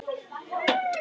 Þau settust í sófann.